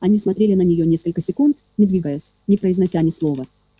они смотрели на нее несколько секунд не двигаясь не произнося ни слова